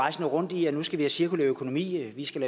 rejsende rundt i at nu skal vi cirkulær økonomi vi skal